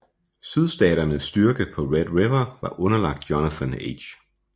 Sydstaternes styrke på Red River var underlagt Jonathan H